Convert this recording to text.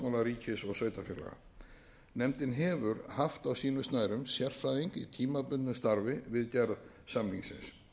grundvelli samstarfssáttmála ríkis og sveitarfélaga nefndin hefur haft á sínum snærum sérfræðing í tímabundnu starfi við gerð samningsins